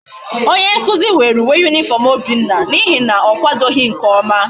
Onye nkuzu were uwe uniform obinna na ihe na okwadoghi nke oma